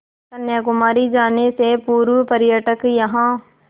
कन्याकुमारी जाने से पूर्व पर्यटक यहाँ